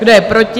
Kdo je proti?